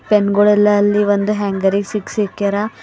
Pen ಗುಳೆಲ್ಲಾ ಅಲ್ಲಿ ಒಂದು ಹ್ಯಾಂಗರಿಗ್ ಸಿಗ್ಸಿಕ್ಕ್ಯಾರ.